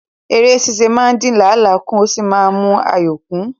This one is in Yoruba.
Ère ṣíṣe máa ń dín làálàá kù ó sì máa ń mú ayọ̀ kún